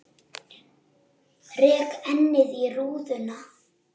Rek ennið í rúðuna.